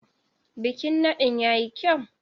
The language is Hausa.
Bikin nadin ya yi kyau.